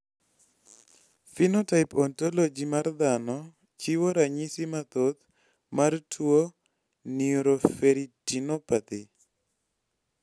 Phenotype Ontology mar dhano chiwo ranyisi mathoth mar tuo Neuroferritinopathy